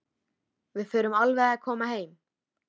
Við förum alveg að koma heim.